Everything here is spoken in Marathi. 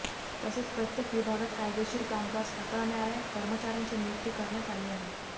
तसेच प्रत्येक विभागात कायदेशीर कामकाज हाताळणाऱया कर्मचाऱयांची नियुक्ती करण्यात आली आहे